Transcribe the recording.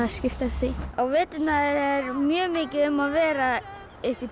skírt eftir því á veturna er mjög mikið um að vera upp í